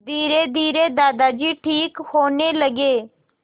धीरेधीरे दादाजी ठीक होने लगे